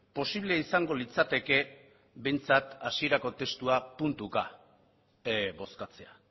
posiblea izango litzateke behintzat hasierako puntua puntuka bozkatzea